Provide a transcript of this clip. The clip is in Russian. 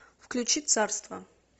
включи царство